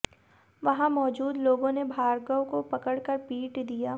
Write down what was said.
वहां मौजूद लोगों ने भार्गव को पकड़कर पीट दिया